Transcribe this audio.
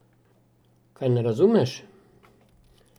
Kaj ne razumeš?